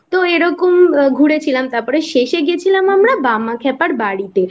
তো এরকম ঘুরেছিলাম তারপর শেষে গেছিলাম আমরা বামাখ্যাপার বাড়িতে তো